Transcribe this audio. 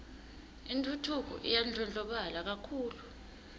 intfutfuko iyandlondlobala kakhulu